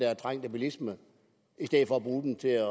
trængte bilisme i stedet for at bruge den til